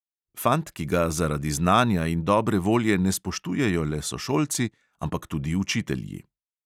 Fant, ki ga zaradi znanja in dobre volje ne spoštujejo le sošolci, ampak tudi učitelji.